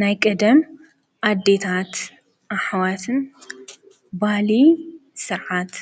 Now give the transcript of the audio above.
ናይ ቀደም ኣዴታት ኣሕዋትን ባህሊ ሥርዓት